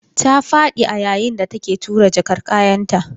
Ta fadi a yayin da take tura jakar kayanta.